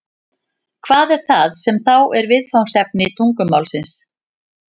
Hvað er það sem þá er viðfangsefni tungumálsins?